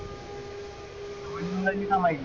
आवाज येईना माझी?